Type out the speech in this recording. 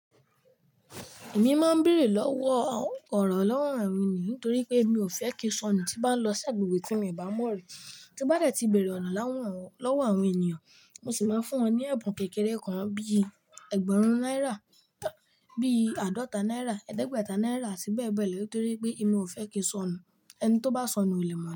Èmi má ń béèrè lọ́wọ́ ọ̀rọ̀ lọ́wọ́ àwọn ènìyàn nítorí pé èmi ò fẹ́ kí sọ̀nù tí bá ń lọ sí agbègbè tí mi ò bá mọ̀ rí. Tí bá dẹ́ ti bèèrè ọ̀nà láwọn lọ́wọ́ àwọn ènìyàn, mo sì máa fún wọn ní ẹ̀bùn kékeré kan bí ẹgbẹ̀rún náírà, bí àádọ́ta náírà, ẹ̀ẹ́dẹ́gbẹ̀ta náírà àti bẹ́ẹ̀ bẹ́ẹ̀ lọ nítorí pé èmi ò fẹ́ kí sọ̀nù. Ẹni tó bá sọnù ò lè mọ̀